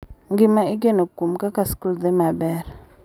Gima igeno kuom kaka skul dhi maber,